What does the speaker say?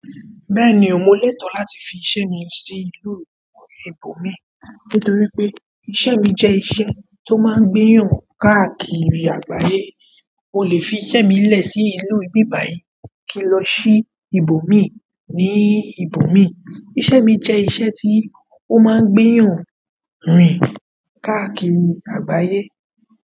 Bẹ́ẹ̀ni o, mo lẹ́tọ̀ọ́ láti fi iṣẹ́ mi sí ìlú ìbò mi nítorí pé iṣẹ́ mi jẹ́ iṣẹ́ tó máa ń gbẹ́yàn káàkiri àgbáyé. Mo lè fi iṣẹ́ mi lẹ̀ sí ìlú bíbàyí kí n lọ ṣí ìbò mi ní ibo mi. Iṣẹ́ mi jẹ́ iṣẹ́ tí ó máa ń gbẹ́yàn rìn káàkiri àgbáyé.